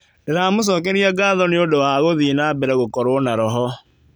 Ndĩramũcokeria ngatho nĩ ũndũ wa gũthie na mbere gũkorwo na roho.